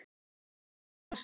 Aftur í glasið.